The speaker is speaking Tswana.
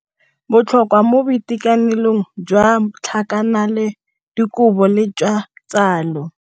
Botlhokwa mo boitekanelong jwa tlhakanelo dikobo le jwa tsalo.